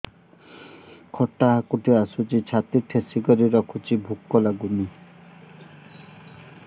ଖଟା ହାକୁଟି ଆସୁଛି ଛାତି ଠେସିକରି ରଖୁଛି ଭୁକ ଲାଗୁନି